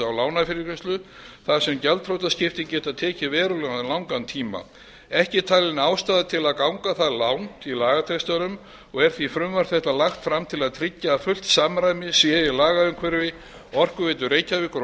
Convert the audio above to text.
á lánafyrirgreiðslu þar sem gjaldþrotaskipti geta tekið verulega langan tíma ekki er talin ástæða til að ganga það langt í lagatextanum og er því frumvarp þetta lagt fram til að tryggja að fullt samræmi sé í lagaumhverfi orkuveitu reykjavíkur